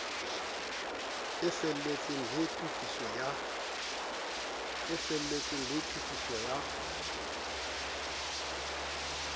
e felletseng le tokiso ya